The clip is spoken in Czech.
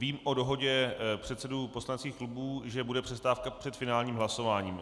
Vím o dohodě předsedů poslaneckých klubů, že bude přestávka před finálním hlasováním.